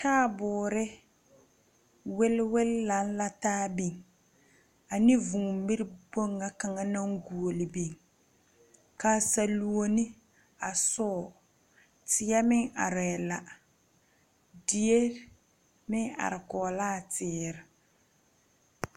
Taabuuri wilwil lang la taa beng ani vũũ miri kpong nga kanga nang guuli beng ka saluoni a suo teɛ meng arẽ la deɛ meng arẽ kɔg laa teere.